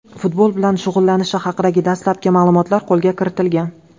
futbol bilan shug‘ullanishi haqidagi dastlabki ma’lumotlar qo‘lga kiritilgan.